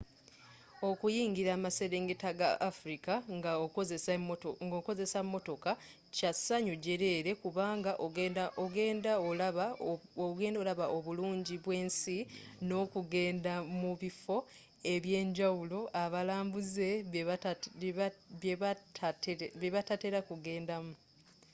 okuyingira amaserengeta ga afrika nga okozesa motoka kya ssanyu jeleele kubanga ogenda olaba obulungi bw'ensi n'okugenda mu bifo ebyenjawulo abalambuze byebatatera kugenda mu